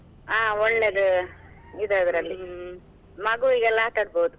ಹ ಒಳ್ಳೇದು ಇದೆ ಮಗುವಿಗೆಲ್ಲಾ ಆಟಡ್ಬೋದು.